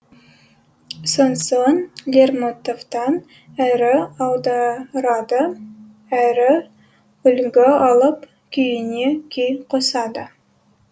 сонсоң лермонтовтан әрі аударады әрі үлгі алып күйіне күй қосады